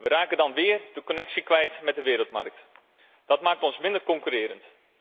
We raken dan weer de connectie met de wereldmarkt kwijt. Dat maakt ons minder concurrerend.